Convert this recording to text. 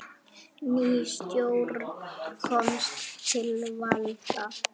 Ný stjórn komst til valda.